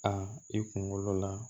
A i kunkolo la